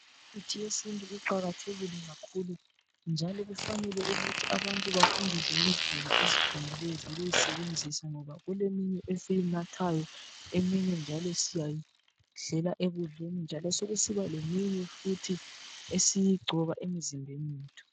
Imithi yesintu iqakathekile kakhulu njalo kufanele ukuthi abantu bafundiswe ngendlela eziqondileyo zokuyisebenzisa ngoba kuleminye esiyinathayo eminye njalo siyayidlela ekudleni njalo sokusiba leminye futhi esiyigcoba emizimbeni yethu.